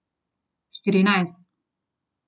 Štirinajst.